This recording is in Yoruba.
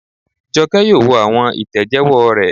Jọkẹ́ yóò wo àwọn ìtẹ̀jẹ́wọ́ rẹ̀